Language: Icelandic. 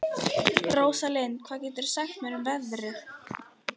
Róslinda, hvað geturðu sagt mér um veðrið?